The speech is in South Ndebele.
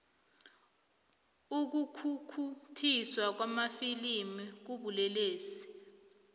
ukukhukhuthiswa kwamafilimu kubulelesi